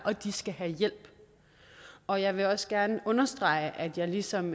og de skal have hjælp og jeg vil også gerne understrege at jeg ligesom